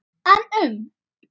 En um?